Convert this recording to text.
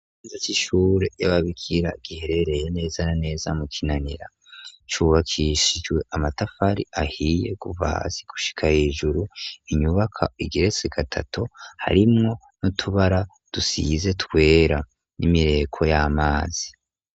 Za c'ishure yababikira giherereye neza na neza mu kinanira cubakishijwe amatafari ahiye guvasi gushika hejuru inyubaka igeretse gatatu harimwo no tubara dusize twera n'imireko y'amazi.